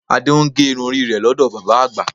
Adé ń gé irun orí rẹ̀ lọ́dọ̀ bàbá àgbà